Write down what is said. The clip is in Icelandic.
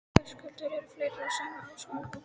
Höskuldur: Eru fleiri á sömu skoðun og þú?